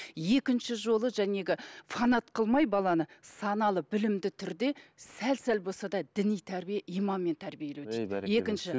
екінші жолы фанат қылмай баланы саналы білімді түрде сәл сәл болса да діни тәрбие иманмен тәрбиелеу керек екінші